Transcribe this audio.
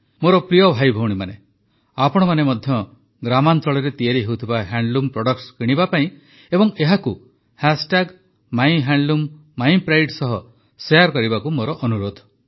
ମୋର ପ୍ରିୟ ଭାଇଭଉଣୀମାନେ ଆପଣମାନେ ମଧ୍ୟ ଗ୍ରାମାଞ୍ଚଳରେ ତିଆରି ହେଉଥିବା ହ୍ୟାଣ୍ଡଲୁମ ପ୍ରଡକ୍ଟସ କିଣିବା ପାଇଁ ଏବଂ ଏହାକୁ ମାଇହ୍ୟାଣ୍ଡଲୁମିପ୍ରାଇଡ ସହ ଶେୟାର କରିବାକୁ ମୋର ଅନୁରୋଧ